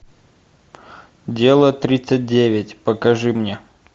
ы